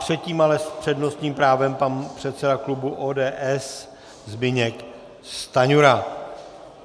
Předtím ale s přednostním právem pan předseda klubu ODS Zbyněk Stanjura.